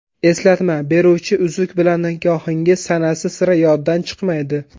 Eslatma beruvchi uzuk bilan nikohingiz sanasi sira yoddan chiqmaydi.